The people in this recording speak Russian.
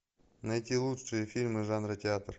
найти лучшие фильмы жанра театр